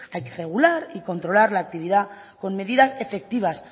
hay que regular y controlar la actividad con medidas efectivas